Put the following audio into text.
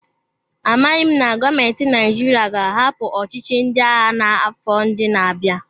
Amaghị m na gọọmentị Naịjirịa ga-ahapụ ọchịchị ndị agha n'afọ ndị na-abịa.